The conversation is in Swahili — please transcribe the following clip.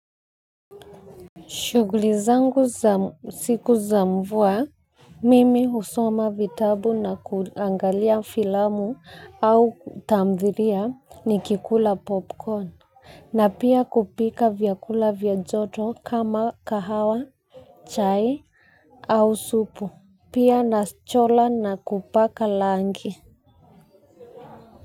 Shughuli zangu za siku za mvua, mimi husoma vitabu na kuangalia filamu au tamthilia nikikula popcorn, na pia kupika vyakula vya joto kama kahawa, chai au supu, pia nachora na kupaka rangi.